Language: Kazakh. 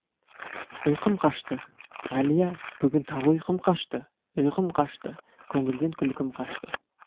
ұи қым қашты әлия бүгін тағы ұйқым қашты ұйқым қашты көңілден күлкім қашты